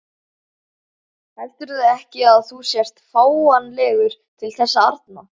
Heldurðu ekki að þú sért fáanlegur til þess arna?